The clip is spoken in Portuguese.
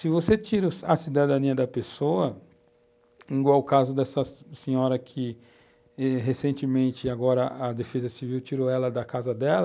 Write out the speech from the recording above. Se você tira a cidadania da pessoa, igual o caso dessa senhora que eh recentemente agora a Defesa Civil tirou ela da casa dela,